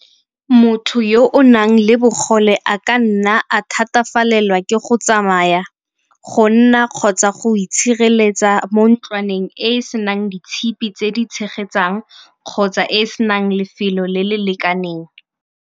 Motho yo o nang le bogole a ka nna a thatafalela ke go tsamaya, go nna kgotsa go itshireletsa mo ntlwaneng e e senang ditshipi tse di tshegetsang kgotsa e e senang lefelo le le lekaneng.